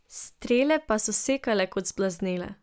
Strele pa so sekale kot zblaznele.